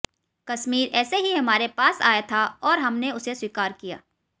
कश्मीर ऐसे ही हमारे पास आया था और हमने उसे स्वीकार किया